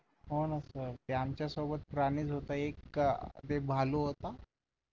होना सर ते आमच्या सोबत प्राणीच होता एक भालू होता.